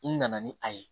U nana ni a ye